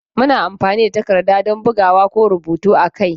Muna amfani da takarda don bugawa ko rubutu a kai.